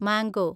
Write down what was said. mango